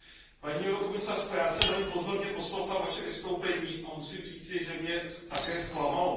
Paní komisařko, já jsem velmi pozorně poslouchal vaše vystoupení a musím říct, že mě také zklamalo.